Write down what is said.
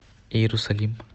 иерусалим